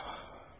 Ay vay, vay.